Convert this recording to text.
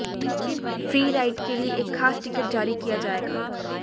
free ride के लिए एक खास टिकट जारी किया जाएगा